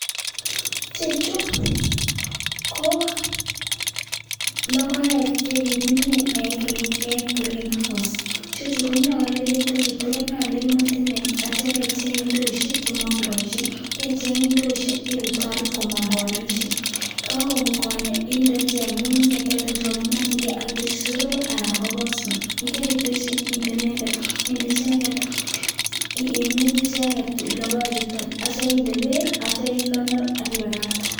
Ichechu ko logoek chekikimin en Greenhouse. Ichechu konyolu aitya ibecheng' ndoisiek chemokoboisie akirutorut komong' konaisiek yekomong' konyek inde ichek ng'ung'unyek chemokyingei akinde soroik anan ko pospet akiminji icheket logoek chuton akikonor akibakakte.